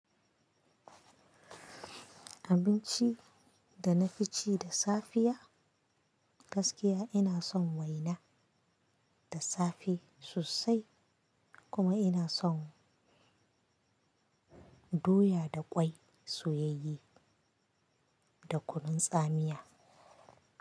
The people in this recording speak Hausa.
Abinci da na fi ci da safiya gaskiya ina son waina da safe sosai kuma ina son doya da ƙwai soyayye da kunun tsamiya.